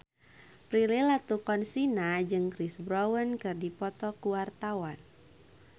Prilly Latuconsina jeung Chris Brown keur dipoto ku wartawan